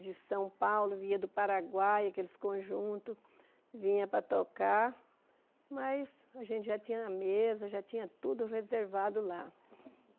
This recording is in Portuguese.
de São Paulo, vinha do Paraguai, aqueles conjuntos, vinha para tocar, mas a gente já tinha a mesa, já tinha tudo reservado lá.